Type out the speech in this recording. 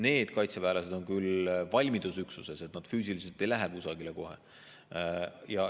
Need kaitseväelased on küll valmidusüksuses, füüsiliselt ei lähe nad kohe kusagile.